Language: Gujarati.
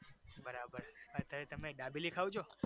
બરાબર અત્યારે તમે દાબેલી ખાવ છો?